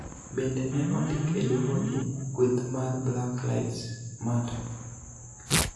Bende, ne ondik e Doho ni kweth mar Black Lives Matter